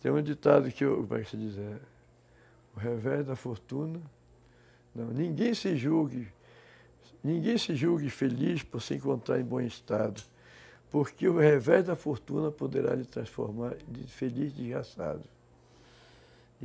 Tem um ditado que eu gosto de dizer... O revés da fortuna... Ninguém se julgue... Ninguém se julgue feliz por se encontrar em bom estado, porque o revés da fortuna poderá lhe transformar de feliz desgraçado.